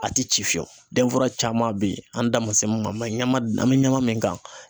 A tɛ ci fiyewu denfara caman beyi an da man se mun ma ɲama an mɛ ɲama min kan